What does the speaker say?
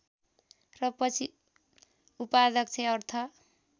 र पछि उपाध्यक्ष अर्थ